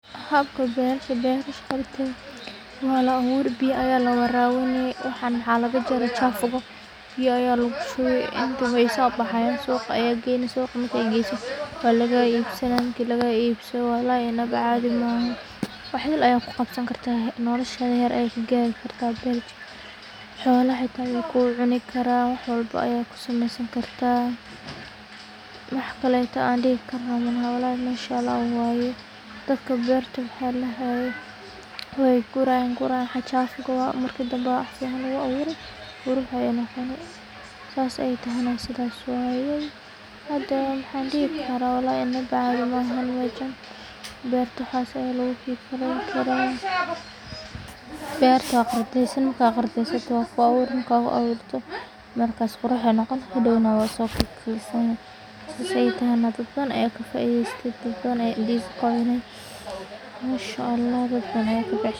Halbka barta barta shaqada, waa laa awuri biyo aya la warani, waxaan maxa laga jaraya jafuka biya aya lagu shibi, way sobaxaysah suqa aya gaynasah marka gasoh wa laga ibsanaya marki laga ibsadoh walhi inbada cadii mahan, waxa idil aya ku qabsanysah gartah nolosha xar aya ka garsah gartah, hoolah aya ku cunigaran wax walbo aya ku samasani gartah, wax kle an dihikaro walhi mashallah waya dadka barta wax ladahayi, way gurayin way gurayin wax jafuka marki dhan baa waxa lagu awuri qurux aya noqoni, saas ay tahan sidas waya, hada wax ladahaya wax dihi karah inba cadii mahan mashan barta waxas aya lagukigalayini karah, barta qardasani marka qardastoh waku awuro marka ku awurtoh marka qurux ayu noqoni hadow nah wa sogosani saas ay tahonah dad badan aya ka faidaysat dad badan ka faaidsata, mashallah dadkan.